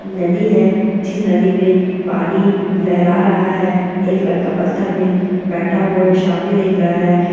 नदी है जिस नदी में पानी लहरा रहा है एक लड़का पत्थर में बैठा हुआ है सामने देख रहा है।